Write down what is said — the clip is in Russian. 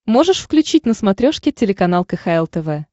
можешь включить на смотрешке телеканал кхл тв